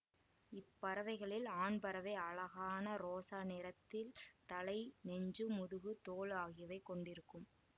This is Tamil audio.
இப்பறவைகளில் ஆண்பறவை அழகான ரோசா நிறத்தில் தலை நெஞ்சு முதுகு தோள் ஆகியவை கொண்டிருக்கும்